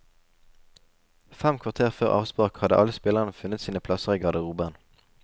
Fem kvarter før avspark hadde alle spillerne funnet sine plasser i garderoben.